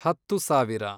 ಹತ್ತು ಸಾವಿರ